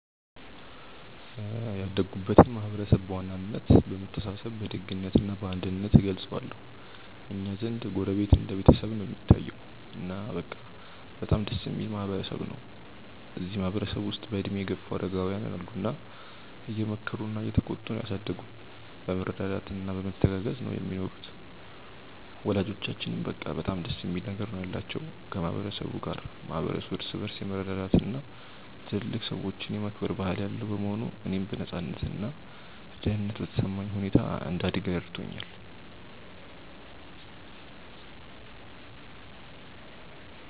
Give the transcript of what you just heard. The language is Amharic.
ያደግኩበትን ማህበረሰብ በዋናነት በመተሳሰብ በደግነት እና በአንድነት እገልጸዋለሁ። እኛ ዘንድ ጎረቤት እንደ ቤተሰብ ነው እሚታየዉ። እና በቃ በጣም ደስ እሚል ማህበረ ሰብ ነው። እዚህ ማህበረ ሰብ ውስጥ በእድሜ የገፉ አረጋውያን አሉ እና እየመከሩና እየተቆጡ ነው ያሳደጉን። በመረዳዳት እና በመተጋገዝ ነው ሚኖሩት። ወላጆቻችንም በቃ በጣም ደስ የሚል ነገር ነው ያላቸው ከ ማህበረ ሰቡ ጋር። ማህበረሰቡ እርስ በርስ የመረዳዳት እና ትልልቅ ሰዎችን የማክበር ባህል ያለው በመሆኑ፣ እኔም በነፃነት እና ደህንነት በተሰማኝ ሁኔታ እንድደግ ረድቶኛል።